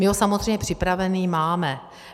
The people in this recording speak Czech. My ho samozřejmě připravený máme.